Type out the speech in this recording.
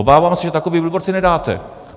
Obávám se, že takový billboard si nedáte.